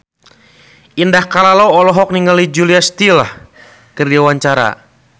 Indah Kalalo olohok ningali Julia Stiles keur diwawancara